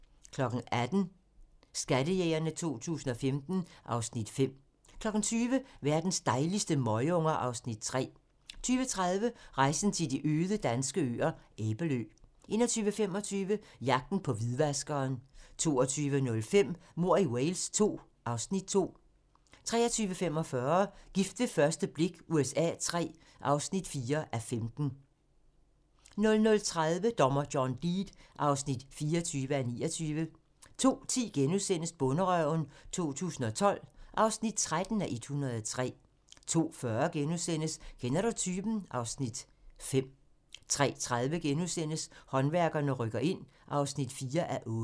18:00: Skattejægerne 2015 (Afs. 5) 20:00: Verdens dejligste møgunger (Afs. 3) 20:30: Rejsen til de øde danske øer - Æbelø 21:25: Jagten på hvidvaskeren 22:05: Mord i Wales II (Afs. 2) 23:45: Gift ved første blik USA III (4:15) 00:30: Dommer John Deed (24:29) 02:10: Bonderøven 2012 (13:103)* 02:40: Kender du typen? (Afs. 5)* 03:30: Håndværkerne rykker ind (4:8)*